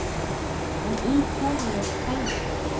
En í hverju felst það?